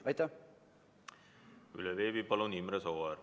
Veebi vahendusel Imre Sooäär, palun!